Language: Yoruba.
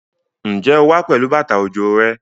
Ǹjẹ́ o wá pẹ̀lú bàtà òjò rẹ?